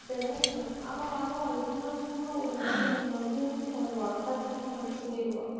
அவ வருவா, எப்படின்னா சும்மா ஒரு ரெண்டு, மூணு, நாலு scene வருவா. டக், டக்குனு வந்துட்டு போயிடுவா.